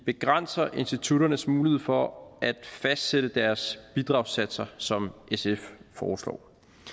begrænser institutternes mulighed for at fastsætte deres bidragssatser som sf foreslår